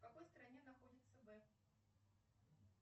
в какой стране находится